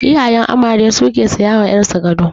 Iyayen amare su ke saya ma ƴar su gado.